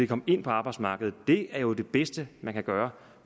komme ind på arbejdsmarkedet det er jo det bedste man kan gøre